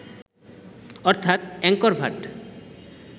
অর্থাত অ্যাংকর ভাট